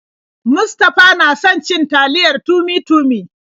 Mustafa na son cin taliyar Tummy-Tummy.